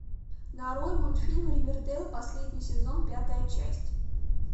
нарой мультфильм ривердейл последний сезон пятая часть